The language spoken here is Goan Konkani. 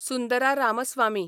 सुंदरा रामस्वामी